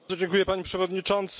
Panie Przewodniczący!